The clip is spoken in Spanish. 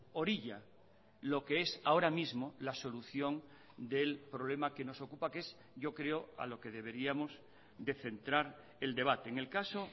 orilla lo que es ahora mismo la solución del problema que nos ocupa que es yo creo a lo que deberíamos de centrar el debate en el caso